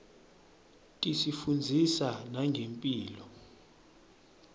tisifundzisa nangemphilo